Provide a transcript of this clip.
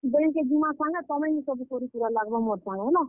Bank କେ ଜିମା ସାଙ୍ଗେ, ତମେ ହି ସବୁ କରିକୁରା ଲାଗ୍ ବ ମୋର୍ ସାଙ୍ଗେ ହେଲା।